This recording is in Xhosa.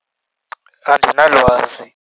Andilwazi.